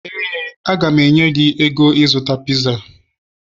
éè, a ga m enye gị ego ịzụta piza